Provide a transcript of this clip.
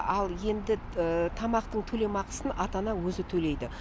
ал енді тамақтың төлемақысын ата ана өзі төлейді